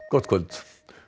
gott kvöld